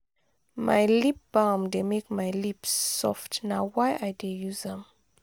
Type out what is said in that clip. my lip balm dey make my lips soft; na why i dey use am.